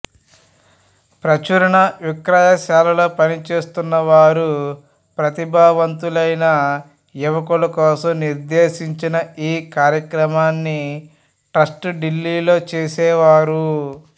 ప్రచురణ విక్రయశాలల్లో పనిచేస్తున్న వారు ప్రతిభావంతులైన యువకుల కోసం నిర్దేశించిన ఈ కార్యక్రమాన్ని ట్రస్టు డిల్లీలో చేసేవారు